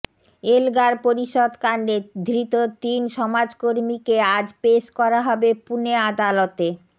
Elgar Parishad কাণ্ডে ধৃত তিন সমাজকর্মীকে আজ পেশ করা হবে পুনে আদালতে